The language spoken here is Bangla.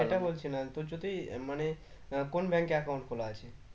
সেটা বলছি না তোর যদি মানে কোন bank এ account খোলা আছে?